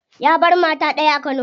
Ya bar mata daya a kano.